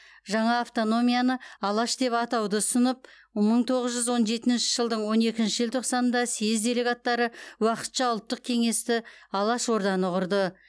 жаңа автономияны алаш деп атауды ұсынылып мың тоғыз жүз он жетінші жылдың он екінші желтоқсанында съез делегаттары уақытша ұлттық кеңесті алаш орданы құрды